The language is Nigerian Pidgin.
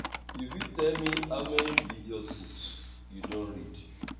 u fit tell me how many religious books you don read?